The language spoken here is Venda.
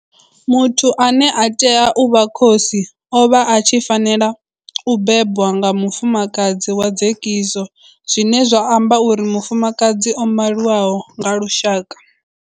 Muthu ane a tea u vha khosi o vha a tshi fanela u bebwa nga mufumakadzi wa dzekiso zwine zwa amba uri mufumakadzi o maliwaho nga lushaka.